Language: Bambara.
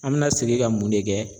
An bɛna segin ka mun de kɛ